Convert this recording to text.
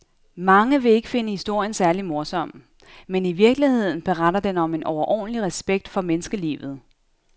Mange vil ikke finde historien særlig morsom, men i virkeligheden beretter den om en overordentlig respekt for menneskelivet.